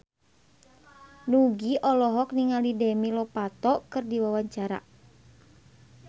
Nugie olohok ningali Demi Lovato keur diwawancara